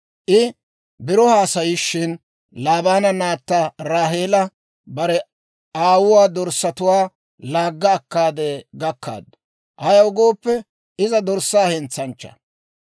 I biro haasayishin, Laabaana naatta Raaheela bare aawuwaa dorssatuwaa laagga akkaade gakkaaddu; ayaw gooppe, iza dorssaa hentsanchchaa.